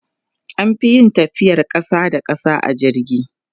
an Fi yin tafiyar ƙasa da ƙasa a jirgi